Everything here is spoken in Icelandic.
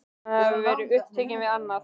Hvort hann hafi verið upptekinn við annað?